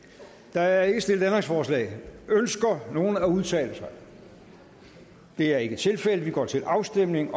der er ikke stillet ændringsforslag ønsker nogen at udtale sig det er ikke tilfældet og vi går til afstemning